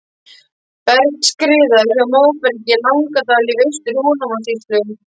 Bergskriða hjá Móbergi í Langadal í Austur-Húnavatnssýslu.